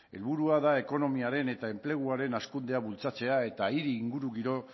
helburua da ekonomiaren eta enpleguaren hazkundea bultzatzea eta hiri ingurugiro